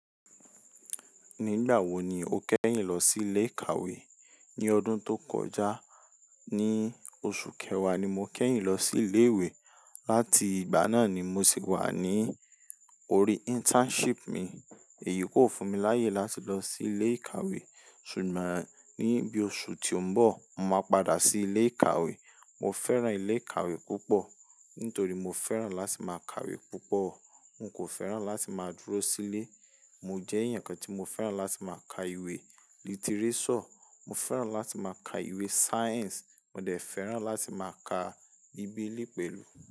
Nígbà wo ni o kẹ́yìn lọ sí ilé ìkàwé? Ní ọdún tó kọjá, ní oṣù kẹwàá ni mo kẹ́yìn lọ sí ilé ìwé. Lati ìgbà náà ni mo sì wà ní orí internship mi. Èyí kò fún mi láyè láti lọ sí ilé ìkàwé, ṣùgbọ́n ní bí oṣù tí ó ń bọ̀, mo máa padà sí ilé ìkàwé. Mo fẹ́ràn ilé ìkàwé púpọ̀ nítorí mo fẹ́ràn láti máa kàwé púpọ̀. N kò fẹ́ràn láti máa dúró sílé. Mo jẹ́ ẹ̀yàn kan tí mo fẹ́ràn láti máa ka ìwé lítírésọ̀, mo fẹ́ràn láti máa ka ìwé sáyẹ́ǹsì, mo dẹ̀ fẹ́ràn láti máa ka bíbélì pẹ̀lú.